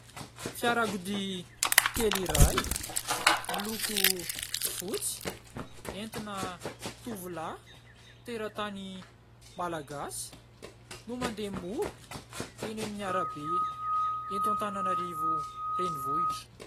Fiarakodia kely iray miloko fotsy entina tovolahy teratany Malagasy no mandeha mora eny aminy arabe eto Antananarivo renivohitra.